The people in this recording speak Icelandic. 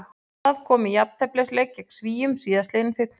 Það kom í jafnteflisleik gegn Svíum síðastliðinn fimmtudag.